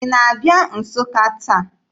Ị na-abịa Nsụka taa?